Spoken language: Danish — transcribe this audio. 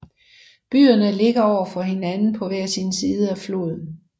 Byerne ligger over for hinanden på hver sin side af floden